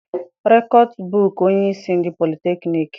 Rektọbụ onyeisi ndị politekniiki.